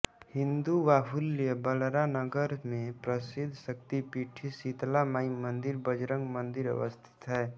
हिन्दुवाहुल्य बलरा नगर मे प्रशिद्ध शक्तीपीठ शितला माई मंदिर बजरंग मंदिर अवस्थित है